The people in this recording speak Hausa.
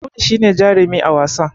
Audu shi ne jarumi a wasan